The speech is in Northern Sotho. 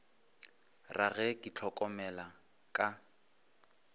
ra ge ke itlhokomela ka